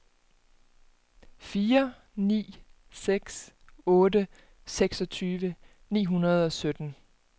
fire ni seks otte seksogtyve ni hundrede og sytten